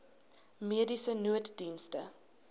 mediese nooddienste